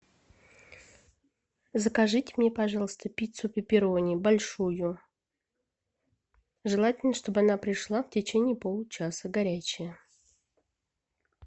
закажите мне пожалуйста пиццу пепперони большую желательно чтобы она пришла в течение получаса горячая